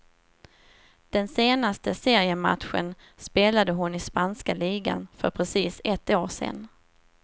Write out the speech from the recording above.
Den senaste seriematchen spelade hon i spanska ligan för precis ett år sen.